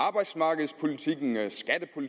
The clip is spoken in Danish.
utvetydigt at